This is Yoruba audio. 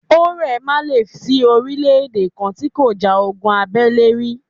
Ó ́rẹ̀ má lè sí orílè-èdè kan tí kò ja ogun abẹ́lé rí.